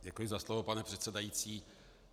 Děkuji za slovo, pane předsedající.